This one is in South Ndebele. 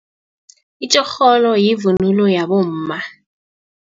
Itjorholo yivunulo yabomma.